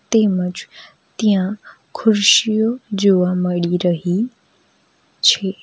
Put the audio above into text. તેમજ ત્યાં ખુરશીઓ જોવા મળી રહી છે.